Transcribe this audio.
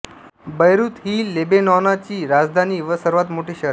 बैरूत ही लेबेनॉनाची राजधानी व सर्वांत मोठे शहर आहे